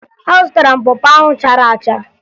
Azụtara m pọ pọ ahụ chara acha